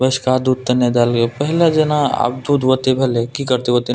बैसका दूध तने दा देल के पैहला जना आब दूध ओयते भेेले की करते ओयते --